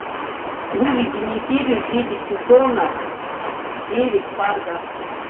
выведи мне серию десять сезона девять фарго